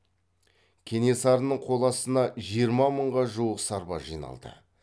кенесарының қол астына жиырма мыңға жуық сарбаз жиналды